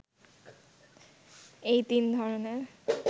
এই তিন ধরনের